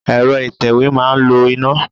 Ẹ̀rọ ìtẹ̀wé máa ń lo iná.